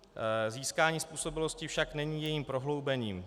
Získání způsobilosti však není jejím prohloubením.